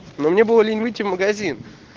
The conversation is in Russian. но мне было лень выйти в магазин